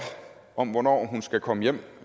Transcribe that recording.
om hvornår hun skal komme hjem